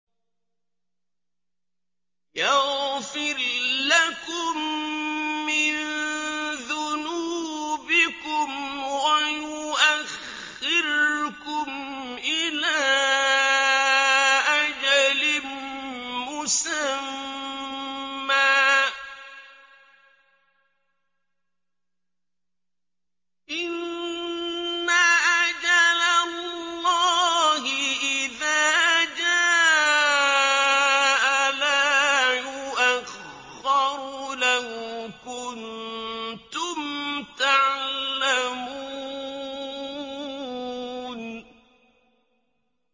يَغْفِرْ لَكُم مِّن ذُنُوبِكُمْ وَيُؤَخِّرْكُمْ إِلَىٰ أَجَلٍ مُّسَمًّى ۚ إِنَّ أَجَلَ اللَّهِ إِذَا جَاءَ لَا يُؤَخَّرُ ۖ لَوْ كُنتُمْ تَعْلَمُونَ